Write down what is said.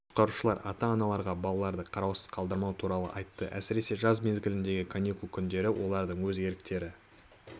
құтқарушылар ата-аналарға балаларды қараусыз қалдырмау туралы айтты әсіресе жаз мезгіліндегі каникул күндері олардың өз еріктері